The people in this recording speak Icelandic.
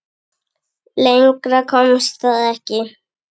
Lengra komst það ekki.